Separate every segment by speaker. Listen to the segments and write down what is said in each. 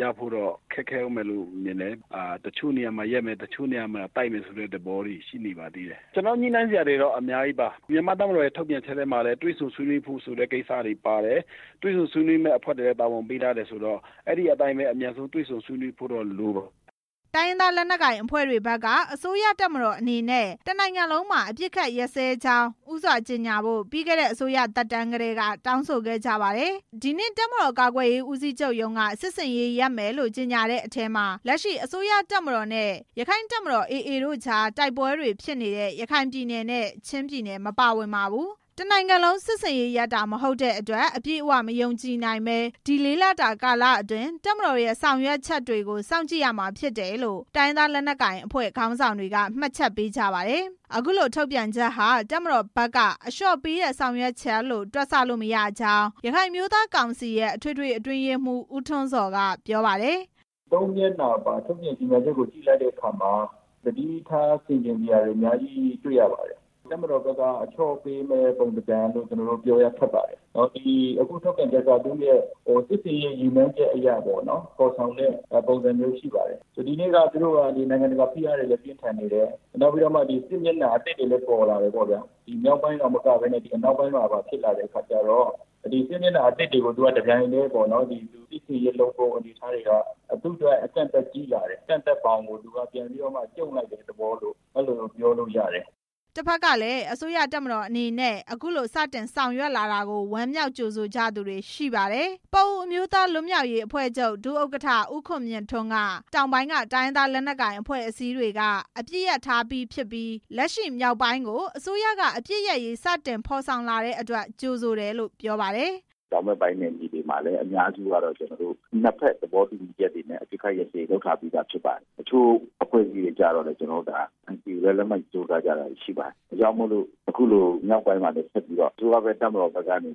Speaker 1: ရလိမ့်မယ်တော့ ခက်ခဲဦးမယ်လို့ ကျနော်မြင်ပါတယ်။ တချို့နေရာမှာ ရပ်မယ်၊ တချို့နေရာမှာ တိုက်မယ်ဆိုတဲ့ သဘောတွေ တွေ့နေရပါသေးတယ်။ ကျနော်တို့ ညှိနှိုင်းစရာတွေ အများကြီးရှိပါသေးတယ်။ တပ်မတော်က ထုတ်ပြန်ချက်ထဲမှာလည်း တွေ့ဆုံဆွေးနွေးဖို့ဆိုတာတွေပါတယ်။ တွေ့ဆုံဆွေးနွေးဖို့ အဖွဲ့တွေလည်း တာဝန်ပေး ထားတယ်ဆိုတော့ အဲဒီအတိုင်းပဲ အမြန်ဆုံးတွေ့ဆုံဆွေးနွေးဖို့လ
Speaker 2: ိုပါတယ်"
Speaker 3: တိုင်းရင်းသား လက်နက်ကိုင်အဖွဲ့တွေဘက်က အစိုးရတပ်မတော်အနေနဲ့ တစ်နိုင်ငံလုံးမှာ အပစ်ခတ် ရပ်စဲကြောင်း ဦးစွာကြေညာဖို့ ပြီးခဲ့တဲ့ အစိုးရသက်တမ်းကတည်းက တောင်းဆိုခဲ့ကြပါတယ်။ ဒီနေ့ တပ်မတော် ကာကွယ်ရေးဦးစီးချုပ်ရုံးက စစ်ဆင်ရေးရပ်မယ်လို့ ကြေညာတဲ့အထဲမှာ အစိုးရတပ်မတော်နဲ့ ရက္ခိုင့်တပ်မတော် AA တို့ကြား တိုက်ပွဲတွေဖြစ်နေတဲ့ ရခိုင်ပြည်နယ်နဲ့ ချင်းပြည်နယ်တွေ မပါဝင်ပါဘူး။ တစ်နိုင်ငံလုံး စစ်ဆင်ရေးရပ်တာ မဟုတ်တဲ့အတွက် အပြည့်အဝမယုံကြည်နိုင်ဘဲ ဒီလေးလတာကာလအတွင်း တပ်မတော်ရဲ့ ဆောင်ရွက်ချက်တွေကို စောင့်ကြည့်ရမှာဖြစ်တယ်လို့ တိုင်းရင်းသား လက်နက်ကိုင်အဖွဲ့ ခေါင်းဆောင်တွေက မှတ်ချက်ပေးကြပါတယ်။ အခုထုတ်ပြန်ချက်ဟာ တပ်မတော်ဘက်က အလျော့ပေးတဲ့ ဆောင်ရွက်ချက်လို့ တွက်ဆလို့ မရဘူးလို့ ရခိုင်အမျိုးသားကောင်စီရဲ့ အထွေထွေအတွင်းရေးမှူး ဦးထွန်းဇော်က ပြောပါတယ်
Speaker 1: ။ "၃ မျက်နှာမှာ ကြေညာချက်ကို ဖတ်လိုက်တဲ့အခါ သတိထားဆင်ခြင်စရာတွေအများကြီး တွေ့ရပါတယ်။ တပ်မတော်ဘက်က အလျော့ပေးမယ့် ပုံစံလို့ ကျနော်တို့ ပြောရခက်ပါတယ်။ အခုထုတ်ပြန်ချက်ဟာ သူရဲ့ စစ်ဆင်ရေးရည်မှန်းချက်အရ ဖော်ဆောင်တဲ့ ပုံစံမျိုးရှိပါတယ်။ ဒီနေ့ သူတို့က နိုင်ငံတကာဖိအားတွေလည်း ပြင်းထန်နေတယ်။ စစ်မျက်နှာအသစ်တွေလည်း ပေါ်လာတယ်။ မြောက်ပိုင်းမှာသာမကဘဲ အနောက်ပိုင်းမှာပါဖြစ်လာတဲ့ အခါကျတော့ စစ်မျက်နှာအားလုံးကို တပြိုင်တည်း စစ်ဆင်ရေးလုပ်ဖို့ အနေအထားကျတော့ သူ့အတွက် အကန့်အသတ်ကြီးလာတယ်။ အကန့်အသတ်ဘောင်ကို ပြန်ပြီးတော့မှ ကျုံ့လိုက်တဲ့ သဘောလို့ ပြောလို့ရတယ်"
Speaker 3: တဖက်ကလည်း အစိုးရတပ်မတော်အနေနဲ့ အခုလို စတင်ဆောင်ရွက်လာကို ဝမ်းမြောက်ကြိုဆိုကြသူတွေလည်း ရှိပါတယ်။ ပအိုဝ့်အမျိုးသားလွတ်မြောက်ရေးအဖွဲ့ချုပ် ဒုဥက္ကဋ္ဌ ဦးခွန်မြင့်ထွန်းက တောင်ပိုင်းက တိုင်းရင်းသား လက်နက်ကိုင်အဖွဲ့အစည်းတွေက အပစ်ရပ်ထားပြီးဖြစ်ပြီး လက်ရှိမြောက်ပိုင်းကို အစိုးရက အပစ်ရပ်ရေး စတင်ဖော်ဆောင်လာတဲ့အတွက် ကြိုဆိုတယ်လို့ ပြောပါတယ်။ "
Speaker 2: တောင်ဘက်ပိုင်းမှာလည်း အများစုကတော့ နှစ်ဖက်သဘောတူညီချက်တွေနဲ့ အပစ်ခတ်ရပ်စဲရေးက လုပ်ထားပြီးသားပဲ တချို့အဖွဲ့အစည်းတွေကျတော့လည်း ဒါ NCA လည်း လက်မှတ်ရေးထိုး ထားကြတာတွေလည်း ရှိပါတယ်။ ဒါကြောင့်မို့လို့ အခုမြောက်ပိုင်းမှာလည်း အစိုးရတပ်မတော်ဘက်က အပစ်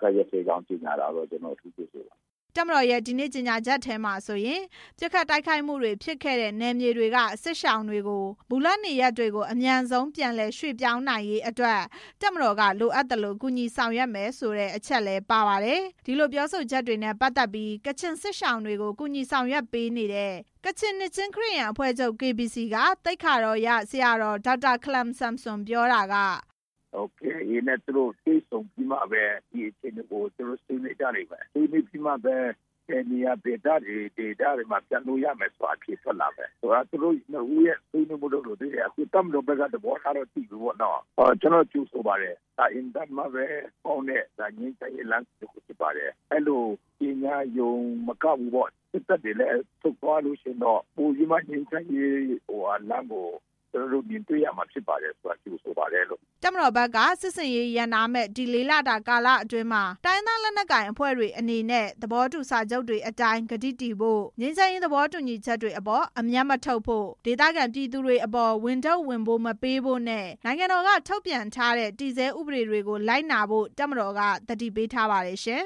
Speaker 2: ခတ်ရပ်စဲကြောင်း ကြေညာတာကို ကျနေ်ာတို့ဘက်က ကြိုဆိုပါတယ်"
Speaker 3: တပ်မတော်ရဲ့ ဒီနေ့ကြေညာချက်ထဲမှာဆိုရင် ပစ်ခတ်တိုက်ခိုက်မှုတွေဖြစ်ခဲ့တဲ့ နယ်မြေတွေက စစ်ရှောင်တွေကို မူလနေရပ်တွေကို အမြန်ဆုံးပြန်လည် ရွှေ့ပြောင်းနိုင်ရေးအတွက် တပ်မတော်က လိုအပ်သလို ကူညီဆောင်ရွက်မယ်ဆိုတဲ့ အချက်လည်း ပါပါတယ်။ ဒီလိုပြောဆိုချက်နဲ့ ပတ်သက်ပြီး ကချင်စစ်ရှောင်တွေကို ကူညီဆောင်ရွက်ပေးနေတဲ့ ကချင်နှစ်ခြင်းခရစ်ယာန် အဖွဲ့ချုပ် KBC က သိက္ခာတော်ရ ဆရာတော် ဒေါက်တာခလမ်ဆမ်ဆွန်ပြောတာက
Speaker 2: "KIA နဲ့ တွေ့ဆုံပြီးတော့မှပဲ ဒီအခြေအနေကို သူတို့ ဆွေးနွေးကြလိမ့်မယ်။ ဆွေးနွေးပြီးမှပဲ ဘယ်နေရာ ဘယ်ဒေသတွေ ပြန်ကြမယ်ဆိုတာ သိလာမယ်။ သူတို့ ဆွေးနွေးဖို့လိုပါသေးတယ်။ ခုတော့ တပ်မတော်ဘက်က သဘောထားကိုတော့ သိရပြီပေါ့။ ကျနော်တို့ ကြိုဆိုပါတယ်။ ဒါအင်မတန်မှကောင်းတဲ့ ငြိမ်းချမ်းရေးလမ်းစဉ် တစ်ခုပါပဲ။ ဒီလိုကြေညာရုံတင်မကဘဲ စစ်တပ်တွေလည်း ဆုတ်သွားရင် ပိုပြီးမှကောင်းတဲ့ ငြိမ်းချမ်းရေးလမ်းကို မြင်တွေ့ရမှာ ဖြစ်တဲ့အတွက် ကျနော်တို့ ကြိုဆိုပါတယ်"
Speaker 3: တပ်မတော်ဘက်က စစ်ဆင်ရေးရပ်နားမယ့် ဒီလေးလတာကာလအတွင်းမှာ တိုင်းရင်းသား လက်နက်ကိုင်အဖွဲ့တွေ အနေနဲ့ သဘောတူစာချုပ်တွေအတိုင်း ကတိတည်ဖို့၊ ငြိမ်းချမ်းရေး သဘောတူညီချက်တွေအပေါ် အမြတ်မထုတ်ဖို့၊ ဒေသခံပြည်သူတွေအပေါ် ဝန်ထုတ်ဝန်ပိုးမပေးဖို့နဲ့ နိုင်ငံတော်က ထုတ်ပြန်ထားတဲ့ တည်ဆဲဥပဒေတွေကို လိုက်နာဖို့ တပ်မတော်က သတိပေးထားပါတယ်ရှင်